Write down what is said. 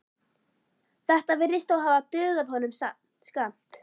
Þetta virðist þó hafa dugað honum skammt.